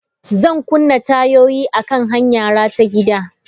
Zan kunna tayoyina akan hanyara ta gida.